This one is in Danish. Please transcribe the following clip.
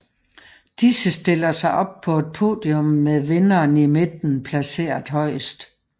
Disse stiller sig op på et podium med vinderen i midten placeret højest